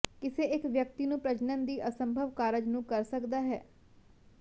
ਕਿਸੇ ਇੱਕ ਵਿਅਕਤੀ ਨੂੰ ਪ੍ਰਜਨਨ ਦੀ ਅਸੰਭਵ ਕਾਰਜ ਨੂੰ ਕਰ ਸਕਦਾ ਹੈ